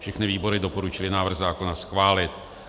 Všechny výbory doporučily návrh zákona schválit.